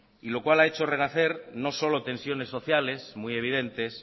lo cual ha hecho renacer no solo tensiones sociales muy evidentes